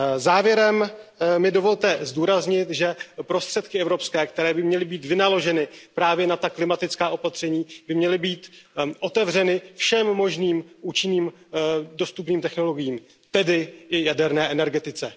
Závěrem mi dovolte zdůraznit, že evropské prostředky, které by měly být vynaloženy právě na ta klimatická opatření, by měly být otevřeny všem možným účinným, dostupným technologiím, tedy i jaderné energetice.